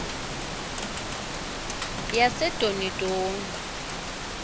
yasedonidoni